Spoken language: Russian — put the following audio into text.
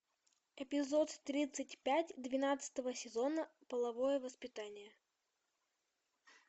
эпизод тридцать пять двенадцатого сезона половое воспитание